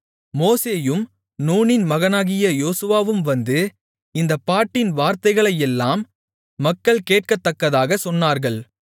மோசேயும் நூனின் மகனாகிய யோசுவாவும் வந்து இந்தப் பாட்டின் வார்த்தைகளையெல்லாம் மக்கள் கேட்கத்தக்கதாகச் சொன்னார்கள்